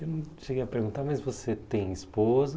Eu não cheguei a perguntar, mas você tem esposa?